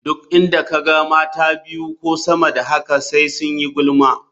Duk inda ka ga mata biyu ko sama da haka sai su yi gulma.